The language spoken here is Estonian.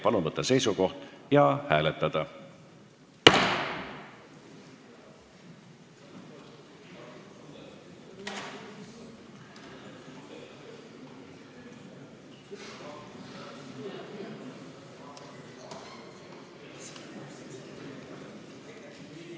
Palun võtta seisukoht ja hääletada!